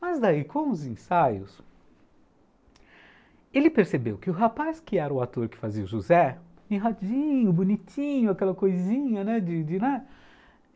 Mas daí, com os ensaios, ele percebeu que o rapaz que era o ator que fazia o José, bonitinho, aquela coisinha, né? de de